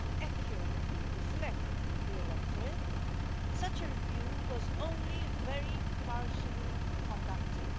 accurately reflect the electorate, such a review was only very partially conducted.